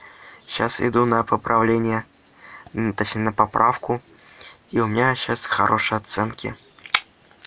сейчас иду на поправление ну точнее на поправку и у меня сейчас хорошие оценки